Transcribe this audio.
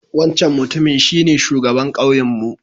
Wancan Mutumin shine shugaban kauyenmu